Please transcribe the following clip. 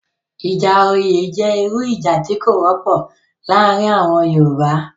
Ìjà oyè jẹ́ irú ìjà tí kò wọ́pọ̀ laarin àwọn Yoruba